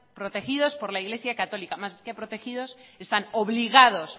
protegidos por el iglesia católica más que protegidos están obligados